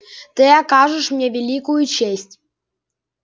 ты окажешь мне великую честь